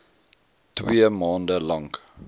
twee maande lank